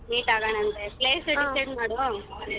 Meet ಆಗೋಣ ಅಂತೇ place decide ಮಾಡು.